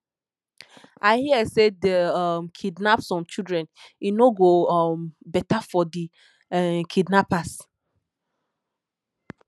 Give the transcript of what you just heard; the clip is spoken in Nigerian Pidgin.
i hear say dey um kidnap some children e no go um beta for di um kidnappers